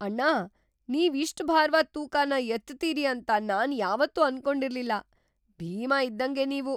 ಅಣ್ಣ! ನೀವ್ ಇಷ್ಟ್ ಭಾರವಾದ್ ತೂಕನ ಎತ್ತುತೀರಿ ಅಂತ ನಾನ್ ಯಾವತ್ತೂ ಅನ್ಕೊಂಡಿರ್ಲಿಲ್ಲ, ಭೀಮ ಇದ್ದಂಗೆ ನೀವು!!